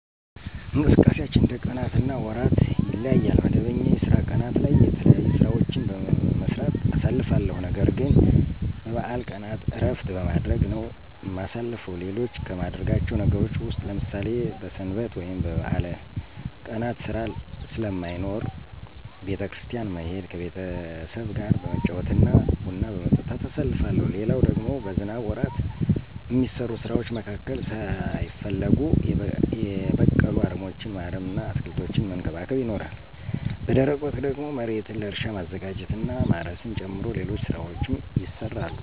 እንቅስቃሴያችን እንደ ቀናት እና ወራት ይለያያል። መደበኛ የስራ ቀናት ላይ የተለያዩ ሥራዎችን በመስራት አሳልፋለሁ። ነገርግን በበዓል ቀናት እረፍት በማድረግ ነው እማሳልፈው። ሌሎች ከማደርጋቸው ነገሮች ውስጥ ለምሳሌ በሰንበት ወይም በበዓል ቀናት ሥራ ስለማይኖር ቤተ- ክርስቲያን መሄድ፤ ከቤተሰብጋ በመጫወት እና ቡና በመጠጣት አሳልፋለሁ። ሌላው ደግሞ በዝናብ ወራት እሚሰሩ ስራዎች መካከል ሳይፈለጉ የበቀሉ አረሞችን ማረም እና አትክልቶችን መንከባከብ ይኖራል። በደረቅ ወቅት ደግሞ መሬትን ለእርሻ ማዘጋጀት እና ማረስን ጨምሮ ሌሎች ሥራዎችም ይሰራሉ።